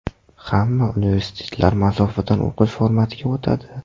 Hamma universitetlar masofadan o‘qish formatiga o‘tadi.